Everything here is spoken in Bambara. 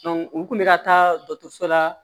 u kun bɛ ka taa dɔtɔrɔso la